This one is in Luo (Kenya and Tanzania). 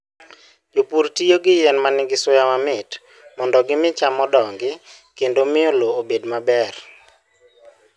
Jopur tiyo gi yien ma nigi suya mamit mondo gimi cham odongi kendo miyo lowo obed maber.